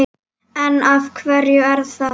En af hverju er það?